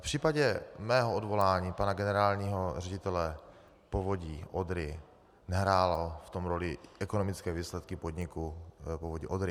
V případě mého odvolání pana generálního ředitele Povodí Odry nehrály v tom roli ekonomické výsledky podniku Povodí Odry.